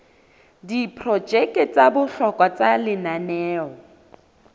diprojeke tsa bohlokwa tsa lenaneo